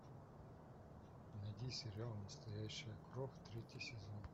найди сериал настоящая кровь третий сезон